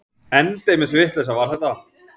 Endemis vitleysa var þetta!